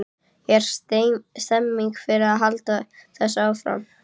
Er stemning fyrir því að halda þessu áfram?